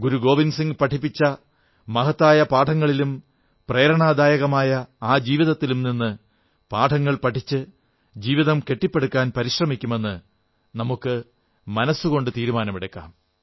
ഗുരു ഗോവിന്ദ് സിംഗ് പഠിപ്പിച്ച മഹത്തായ പാഠങ്ങളിലും പ്രേരണാദായകമായ ആ ജീവീതത്തിലും നിന്ന് പാഠങ്ങൾ പഠിച്ച് ജീവിതം കെട്ടിപ്പടുക്കാൻ പരിശ്രമിക്കുമെന്ന് നമുക്ക് മനസ്സുകൊണ്ട് തീരുമാനമെടുക്കാം